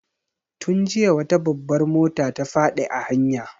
Tun jiya wata babbar mota ta faɗi a hanya.